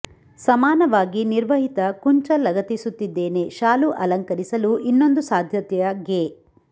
ಸಮಾನವಾಗಿ ನಿರ್ವಹಿತ ಕುಂಚ ಲಗತ್ತಿಸುತ್ತಿದ್ದೇನೆ ಶಾಲು ಅಲಂಕರಿಸಲು ಇನ್ನೊಂದು ಸಾಧ್ಯತೆಯ ಗೆ